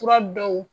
Fura dɔw